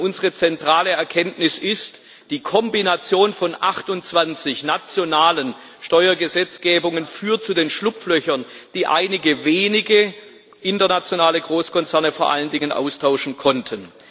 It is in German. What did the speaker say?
Denn unsere zentrale Erkenntnis ist Die Kombination von 28 nationalen Steuergesetzgebungen führt zu den Schlupflöchern, die einige wenige vor allen Dingen internationale Großkonzerne austauschen konnten.